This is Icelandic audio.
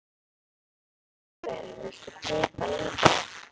Já, gjörðu svo vel. Viltu pipar líka?